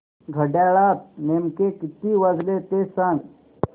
घड्याळात नेमके किती वाजले ते सांग